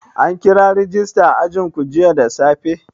An kira rajista a ajinku jiya da safe?